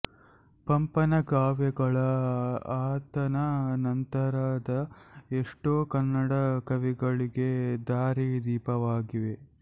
ಪಂಪನ ಕಾವ್ಯಗಳು ಆತನ ನಂತರದ ಎಷ್ಟೋ ಕನ್ನಡ ಕವಿಗಳಿಗೆ ದಾರಿ ದೀಪವಾಗಿವೆ